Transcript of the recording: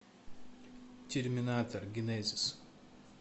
терминатор генезис